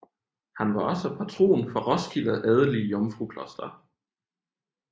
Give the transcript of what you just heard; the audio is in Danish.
Han var også patron for Roskilde adelige Jomfrukloster